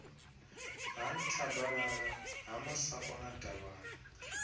ha nthabalala ha masakona davhana